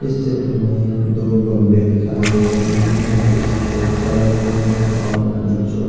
इस चित्र में दो बगुले दिखाई दे रहे हैं जोकि सफेद कलर के हैं और उनकी चोंच --